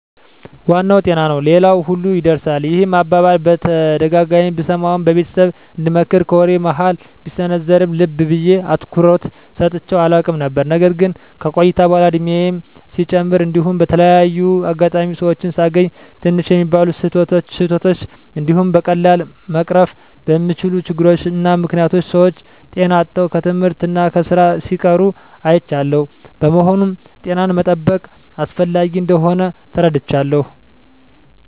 " ዋናው ጤና ነው ሌላው ሁሉ ይርሳል። " ይህን አባባል በተደጋጋሚ ብሰማውም በቤተሰብ እንደምክር ከወሬ መሀል ቢሰነዘርም ልብ ብየ አትኩሮት ሰጥቸው አላውቅም ነበር። ነገር ግን ከቆይታ በኃላ እድሜየም ሲጨምር እንዲሁም በተለያየ አጋጣሚ ሰወችን ሳገኝ ትንሽ በሚባሉ ስህተቶች እንዲሁም በቀላሉ መቀረፍ በሚችሉ ችግሮች እና ምክኒያቶች ሰወች ጤና አጥተው ከትምህርት እና ከስራ ሲቀሩ አይቻለሁ። በመሆኑም ጤናን መጠበቅ አስፈላጊ እንደሆን ተረድቻለሁ።